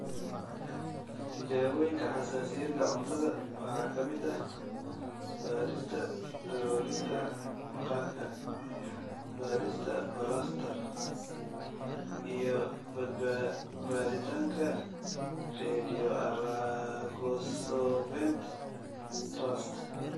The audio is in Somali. Tijaabooyinka xasaasiyadda cuntada waxa ka mid ah baadhista daloolinta maqaarka, baadhista balastar, iyo baadhitaanka Radioallergosorbent (RAST).